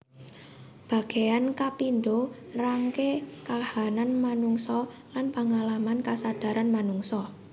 Bagéan kapindho nrangaké kahanan manungsa lan pangalaman kasadaran manungsa